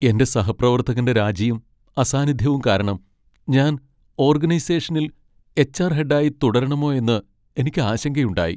എന്റെ സഹപ്രവർത്തകന്റെ രാജിയും അസാന്നിധ്യവും കാരണം ഞാൻ ഓർഗനൈസേഷനിൽ എച്ച്.ആർ. ഹെഡായി തുടരണമോയോയെന്ന് എനിക്ക് ആശങ്കയുണ്ടായി .